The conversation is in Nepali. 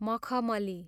मखमली